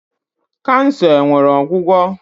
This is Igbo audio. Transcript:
Kansa enwere ọgwụgwo?